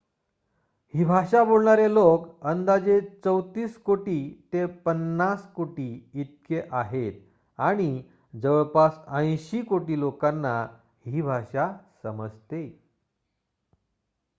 ही भाषा बोलणारे लोक अंदाजे ३४ कोटी ते ५० कोटी इतके आहेत आणि जवळपास ८० कोटी लोकांना ही भाषा समजते